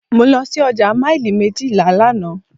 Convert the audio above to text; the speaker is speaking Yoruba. Mo lọ sí ọjà maili méjìlá lánàá.